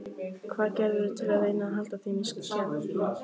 Hvað gerirðu til að reyna að halda þeim í skefjum?